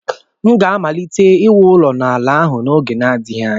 M ga-amalite iwu ụlọ n'ala ahụ n'oge na-adịghị anya.